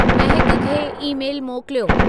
महक खे ई-मेलु मोकिलियो